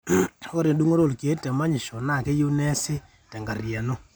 ore endung'oto olkeek temanyisho naa keyieu neesi kenkariyiano